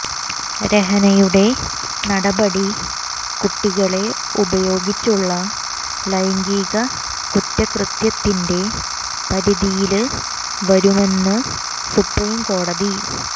രഹനയുടെ നടപടി കുട്ടികളെ ഉപയോഗിച്ചുള്ള ലൈംഗിക കുറ്റകൃത്യത്തിന്റെ പരിധിയില് വരുമെന്ന് സുപ്രീംകോടതി